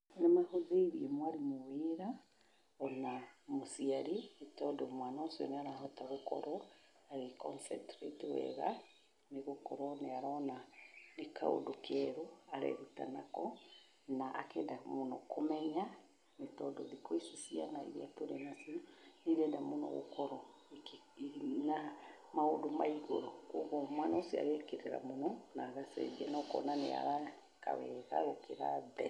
Nĩ mahũthĩirie mwarimũ wĩra, o na mũciari, nĩ tondũ mwana ũcio nĩ arahota gũkorwo agĩ concentrate wega nĩ gũkorwo nĩ arona nĩ kaũndũ kerũ areeruta nako, na akenda mũno kũmenya. Nĩ tondũ thikũ ici ciana iria tũrĩ nacio, nĩ irenda mũno gũkorwo ĩna maũndũ maigũrũ. Kwoguo mwana ũcio agekĩrĩra mũno na agacenjia na ũkona nĩ ara ĩka wega gũkĩra mbere.